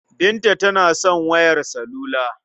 Binta tana son wayar salula.